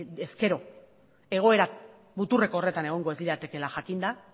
ezkero egoera muturreko horretan egongo ez liratekeela jakinda